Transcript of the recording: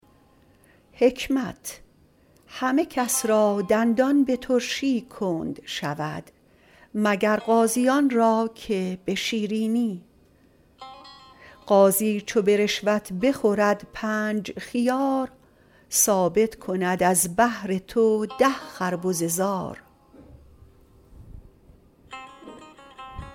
همه کس را دندان به ترشی کند شود مگر قاضیان را که به شیرینی قاضی چو به رشوت بخورد پنج خیار ثابت کند از بهر تو ده خربزه زار